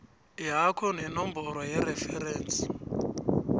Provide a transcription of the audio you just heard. yakho nenomboro yereferensi